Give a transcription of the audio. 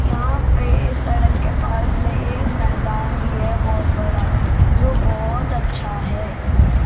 यहां पे सड़क के पास में एक मैदान भी है बहोत बड़ा जो बहोत अच्छा है।